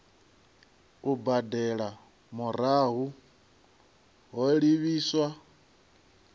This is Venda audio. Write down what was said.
u badela murahu ho livhiswa